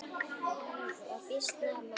Hann var býsna mælskur maður.